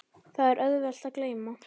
Það er auðvelt að gleyma.